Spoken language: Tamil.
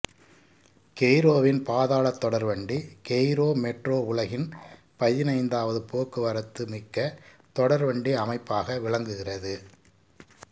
கெய்ரோவின் பாதாளத் தொடர்வண்டி கெய்ரோ மெட்ரோ உலகின் பதினைந்தாவது போக்குவரத்துமிக்க தொடர்வண்டி அமைப்பாக விளங்குகிறது